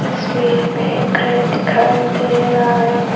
तस्वीर में घर दिखाई दे रहा है।